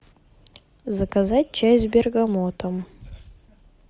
заказать чай с бергамотом